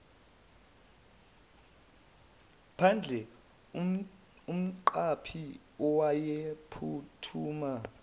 phandle umqaphi uyaphuthuma